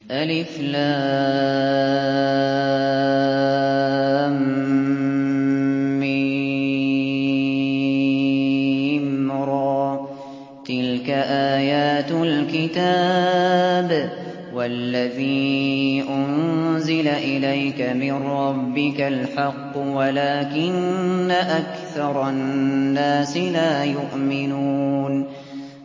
المر ۚ تِلْكَ آيَاتُ الْكِتَابِ ۗ وَالَّذِي أُنزِلَ إِلَيْكَ مِن رَّبِّكَ الْحَقُّ وَلَٰكِنَّ أَكْثَرَ النَّاسِ لَا يُؤْمِنُونَ